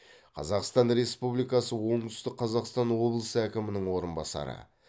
қазақстан республикасы оңтүстік қазақстан облысы әкімінің орынбасары